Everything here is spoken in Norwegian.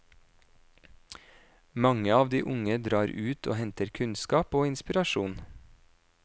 Mange av de unge drar ut og henter kunnskap og inspirasjon.